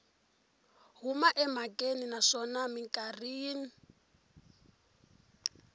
huma emhakeni naswona mikarhi yin